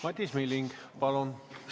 Madis Milling, palun!